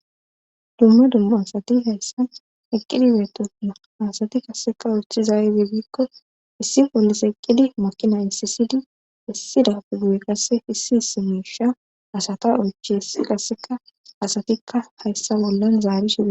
Dumma dumma asati hayssa eqqidi beetona asati qasseka ochizaede biikko issi pollise eqqidi makina issisidi issida pugu7e qasse issi hisi meesha asata ochhessi qasseka asatikka hayssa bollan zaari shidae